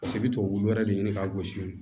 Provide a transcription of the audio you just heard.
Paseke i bɛ to wulu wɛrɛ de ɲini k'a gosi